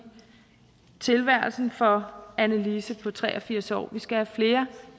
tilværelsen for annelise på tre og firs år vi skal have flere